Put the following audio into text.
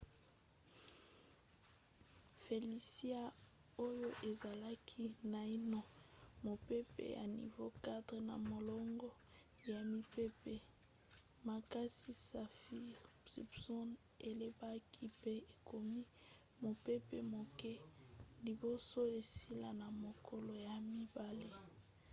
felicia oyo ezalaki naino mopepe ya nivo 4 na molongo ya mipepe makasi saffir-simpson elembaki pe ekomi mopepe moke liboso esila na mokolo ya mibale